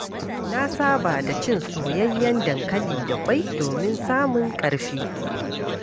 Na saba da cin soyayyen dankali da ƙwai domin samun ƙarfi.